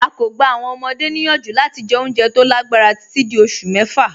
À kọ́ gbà àwọn ọmọde niyanju lati jẹ́ ọ̀unjẹ́ tó lágbarà tití dí ọṣù mẹ́fà.